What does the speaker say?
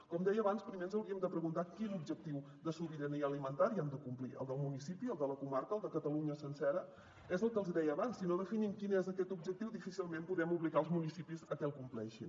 com deia abans primer ens hauríem de preguntar quin objectiu de sobirania alimentària hem de complir el del municipi el de la comarca el de catalunya sencera és el que els hi deia abans si no definim quin és aquest objectiu difícilment podem obligar els municipis a que el compleixin